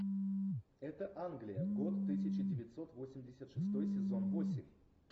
это англия год тысяча девятьсот восемьдесят шестой сезон восемь